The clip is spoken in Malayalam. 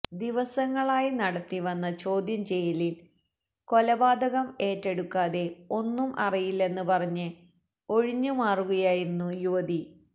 ദിവസങ്ങളായി നടത്തിവന്ന ചോദ്യം ചെയ്യലിൽ കൊലപാതകം ഏറ്റെടുക്കാതെ ഒന്നും അറിയില്ലെന്ന് പറഞ്ഞ് ഒഴിഞ്ഞു മാറുകയായിരുന്നു യുവതി